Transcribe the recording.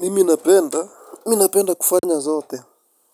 Mimi napenda, mi napenda kufanya zote.